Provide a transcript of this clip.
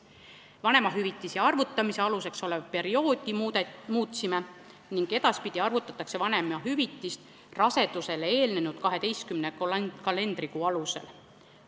Me muutsime vanemahüvitise arvutamise aluseks olevat perioodi: edaspidi arvutatakse vanemahüvitist rasedusele eelnenud 12 kalendrikuu alusel.